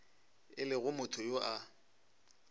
e le motho yo a